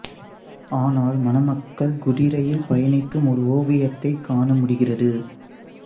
ஆனால் மணமக்கள் குதிரையில் பயணிக்கும் ஒரு ஓவியத்தைக் காண முடிகிறது